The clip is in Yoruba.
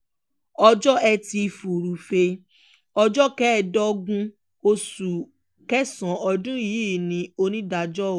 ọjọ́ etí furuufee ọjọ́ kẹẹ̀ẹ́dógún oṣù kẹsàn-án ọdún yìí ni onídàájọ́ o